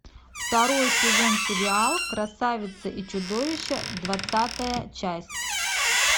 второй сезон сериал красавица и чудовище двадцатая часть